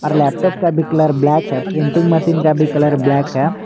और लैपटॉप का भी कलर ब्लैक है प्रिंटिंग मशीन का भी कलर ब्लैक है।